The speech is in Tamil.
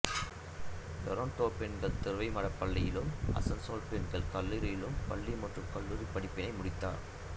லோரெட்டோ பெண்கள் துறவி மடப் பள்ளியிலும் அசன்சோல் பெண்கள் கல்லூரியிலும் பள்ளி மற்றும் கல்லூரிப் படிப்பினை முடித்தார்